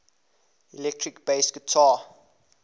electric bass guitar